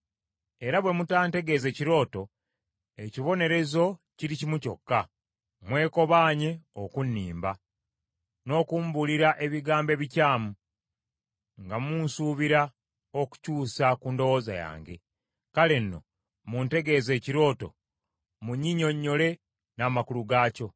era bwe mutantegeeze kirooto, ekibonerezo kiri kimu kyokka. Mwekobaanye okunnimba n’okumbuulira ebigambo ebikyamu, nga munsuubira okukyusa ku ndowooza yange. Kale nno, muntegeeze ekirooto, munnyinnyonnyole n’amakulu gaakyo.”